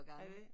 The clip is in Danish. Har I det?